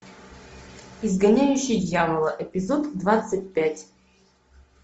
изгоняющий дьявола эпизод двадцать пять